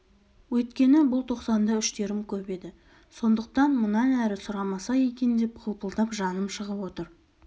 өйткені бұл тоқсанда үштерім көп еді сондықтан мұнан әрі сұрамаса екен деп қылпылдап жаным шығып отыр